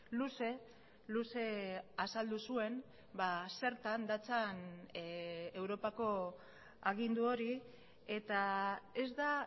luze luze azaldu zuen zertan datzan europako agindu hori eta ez da